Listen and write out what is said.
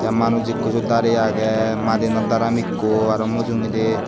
manus ikko siot dare age arw madianot daram ikko arw mujugedi.